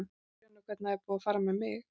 Þú sérð nú hvernig það er búið að fara með mig.